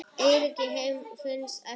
Eyríki heims eftir stærð